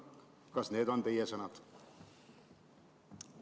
Kas need on teie sõnad?